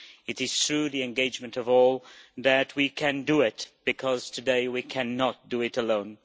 It is through the engagement of all that we can do it, because today we cannot do it alone.